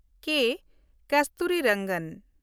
ᱠᱮ. ᱠᱚᱥᱛᱩᱨᱤᱨᱚᱝᱜᱚᱱ